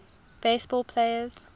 base ball players